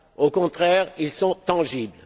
Au contraire, ils sont tangibles.